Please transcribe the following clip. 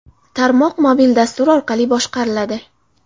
Tarmoq mobil dastur orqali boshqariladi.